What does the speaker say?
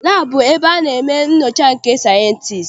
Laabụ bụ ebe a na-eme nnyocha nke sayịensị.